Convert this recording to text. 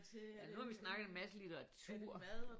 Ja nu har vi snakket en masse litteratur